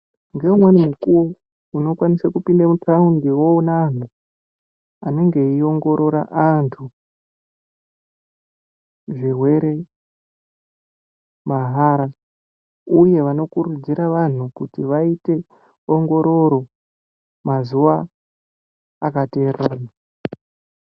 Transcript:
Ngeumweni mukuwo unokwanisa kupinda mutaundi woona antu anenge eiongororwa antu zvirwere mahara uye vanokurudzirwa vantu kuti vaite ongororo mazuva akatererana.